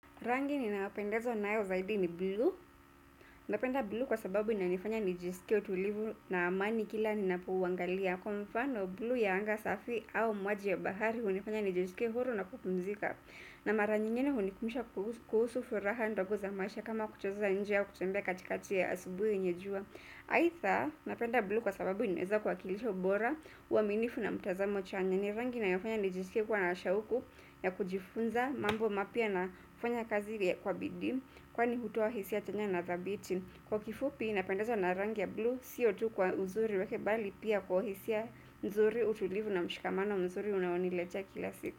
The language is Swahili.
Rangi ninayopendezwa nayo zaidi ni blue. Napenda blue kwa sababu inifanya nijisike utulivu na amani kila ninapouangalia. Kwa mfano blue ya anga safi au maji ya bahari hunifanya nijisike huru na kupumzika. Na mara nyingine hunikumbusha kuhusu furaha ndogo za maisha kama kucheza nje au kutembea katikati ya asubuhi yenye jua. Aidha napenda blue kwa sababu inaweza kuwakilisha ubora uaminifu na mtazamo chanya. Ni rangi inayofanya nijisikie kuwa na shauku ya kujifunza mambo mapya na kufanya kazi kwa bidii kwani hutoa hisia chanya na thabiti. Kwa kifupi napendezwa na rangi ya blue siyo tu kwa uzuri wake bali pia kwa hisia mzuri utulivu na mshikamano mzuri unaoniletea kila siku.